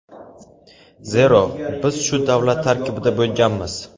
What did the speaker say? Zero biz shu davlat tarkibida bo‘lganmiz.